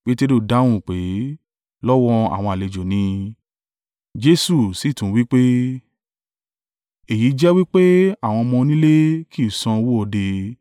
Peteru dáhùn pé, “Lọ́wọ́ àwọn àlejò ni.” Jesu sì tún wí pé, “Èyí jẹ́ wí pé àwọn ọmọ onílẹ̀ kì í san owó òde?